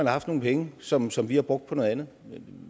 haft nogle penge som som vi har brugt på noget andet